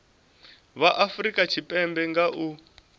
vha afurika tshipembe nga u